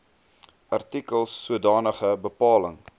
artikels sodanige bepaling